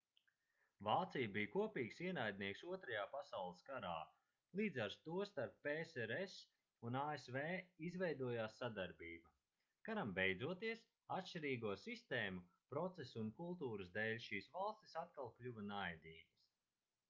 vācija bija kopīgs ienaidnieks 2. pasaules karā līdz ar to starp psrs un asv izveidojās sadarbība karam beidzoties atšķirīgo sistēmu procesu un kultūras dēļ šīs valstis atkal kļuva naidīgas